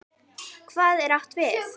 Hvað er átt við?